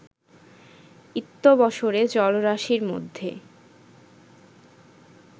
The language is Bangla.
ইত্যবসরে জলরাশিমধ্যে